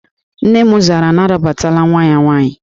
Nne m zara na arabatala nwa ya nwaanyị